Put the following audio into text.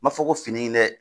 N m'a fɔ ko fini ye lɛ